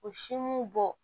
O simu bɔ